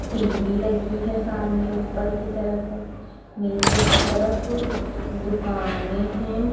TV लगी है सामने ऊपर की तरफ नीचे की तरफ दुकाने है।